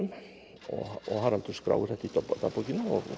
og Haraldur skráir þetta í dagbókina